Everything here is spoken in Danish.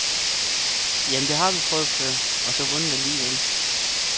Jamen, dét har vi prøvet før, og så vundet alligevel.